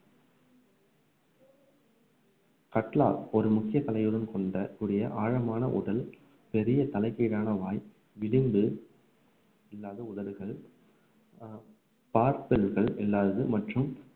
கட்லா ஒரு முக்கிய கொண்ட ஒரு ஆழமான உடல் பெரிய தலைக்கீழான வாய் விளிம்பு இல்லாத உதடுகள் அஹ் இல்லாதது மற்றும்